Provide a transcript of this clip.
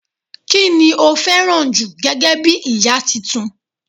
ki ni o fẹràn ju gẹgẹ bí ìta Titun